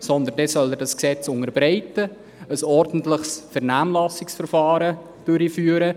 Sondern er soll das Gesetz unterbreiten und ein ordentliches Vernehmlassungsverfahren durchführen.